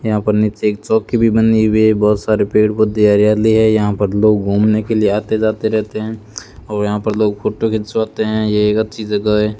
यहां पर नीचे एक चौकी भी बनी हुई है बहुत सारे पेड़-पौधे हरियाली है यहां पर लोग घूमने के लिए आते-जाते रहते हैं और यहां पर लोग फोटो खिंचवाते हैं यह एक अच्छी जगह है।